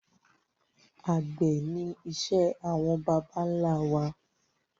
Àgbẹ̀ ni iṣẹ́ àwọn bàbà ńlá wa